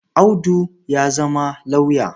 Audu ya zama lauyer.